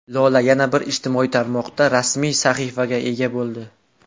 Lola yana bir ijtimoiy tarmoqda rasmiy sahifaga ega bo‘ldi.